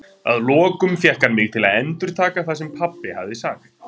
Að lokum fékk hann mig til að endurtaka það sem pabbi hafði sagt.